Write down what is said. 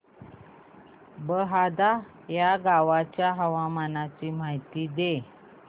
बहादा या गावाच्या हवामानाची माहिती दे